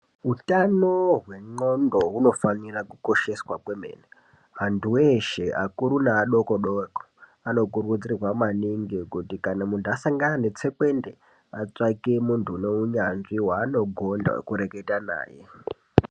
Utano hwendxondo hunofanira kukosheswa kwemene, anthu eshe akuru neadokodoko anokuridzirwa kuti kana munthu asangana netsekwende atavake munthu waanogonda wekureketa naye.